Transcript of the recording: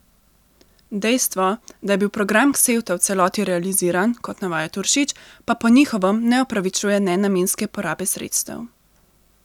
Dejstvo, da je bil program Ksevta v celoti realiziran, kot navaja Turšič, pa po njihovem ne opravičuje nenamenske porabe sredstev.